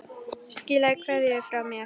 Skilaðu kveðju frá mér.